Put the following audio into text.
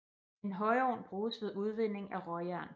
En højovn bruges ved udvinding af råjern